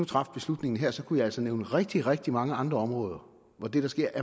traf beslutningen her kunne jeg altså nævne rigtig rigtig mange andre områder hvor det der sker